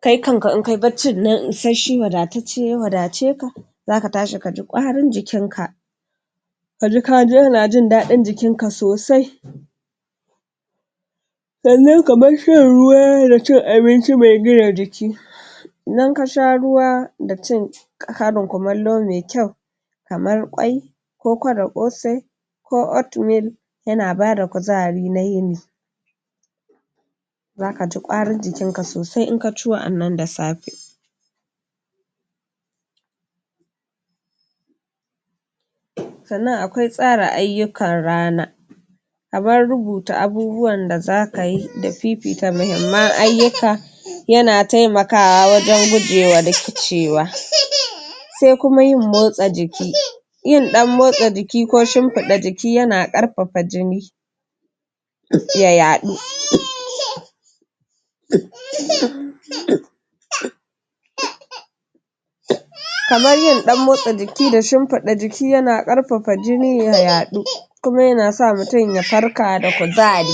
kai kanka in kayi barcin nan isashshe wadatacce ya wadace ka zaka tashi kaji ƙwarin jikinka kaji jin daɗin jikin ka sosai sannan kamar shan ruwa da cin abinci me gina jiki idan ka sha ruwa da cin karin kumallo me kyau kamar ƙwai koko da ƙosai ko oat meal yana bada kuzari na yini zaka ji ƙwarin jikinka sosai in ka ci wa'annan da safe sannan akwai tsara ayyukan rana kamar rubuta abubuwan da zakayi da fifita mahimman ayyuka yana temakawa wajen gujewa rikicewa se kuma yin motsa jiki yin ɗan motsa jiki ko shimfiɗa jiki yana ƙarfafa jini ya yaɗu kamar yin ɗan motsa jiki da shimfiɗa jiki yana ƙarfafa jini ya yaɗu kuma yana sa mutum ya farka da kuzari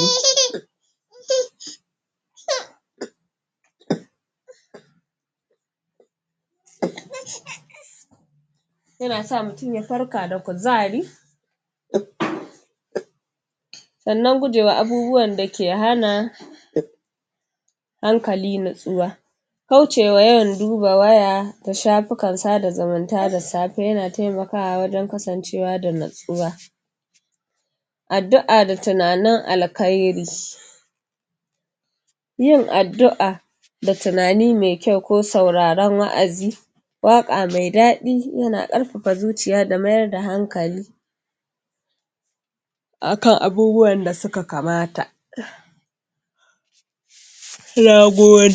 yana sa mutum ya farka da kuzari sannan guje wa abubuwan da ke hana hankali natsuwa kaucewa yawan duba waya da shafukan sada zumunta da safe yana temakawa wajen kasancewa da natsuwa addu'a da tunanin alkhairi yin addu'a da tunani me kyau ko sauraron wa'azi waƙa me daɗi yana ƙarfafa zuciya da mayar da hankali akan abubuwan da suka kamata nagode